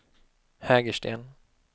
Hägersten